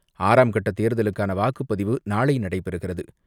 ஆறாம் கட்ட தேர்தலுக்கான வாக்குப்பதிவு நாளை நடைபெறுகிறது.